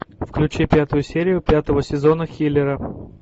включи пятую серию пятого сезона хилера